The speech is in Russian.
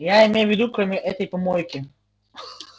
я имею в виду кроме этой помойки